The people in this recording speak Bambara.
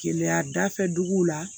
Keleya dafɛ dugu la